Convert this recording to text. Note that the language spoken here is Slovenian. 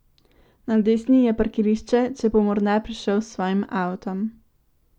Na desni je parkirišče, če bo morda prišel s svojim avtom.